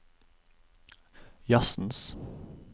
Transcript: jazzens